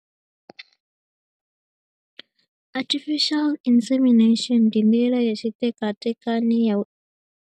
Artificial insemination ndi ndila ya tshitekatekani ya u .